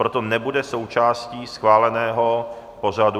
Proto nebude součástí schváleného pořadu.